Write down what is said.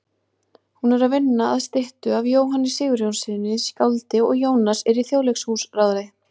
Hún er að vinna að styttu af Jóhanni Sigurjónssyni skáldi og Jónas er í Þjóðleikhúsráði.